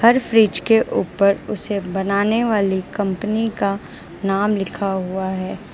हर fridge के ऊपर उसे बनाने वाली कंपनी का नाम लिखा हुआ है।